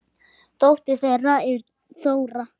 Dóttir þeirra er Þóra.